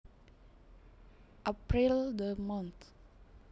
April the month